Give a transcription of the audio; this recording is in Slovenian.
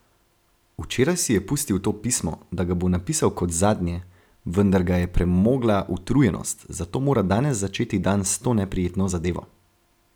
Včeraj si je pustil to pismo, da ga bo napisal kot zadnje, vendar ga je premogla utrujenost, zato mora danes začeti dan s to neprijetno zadevo.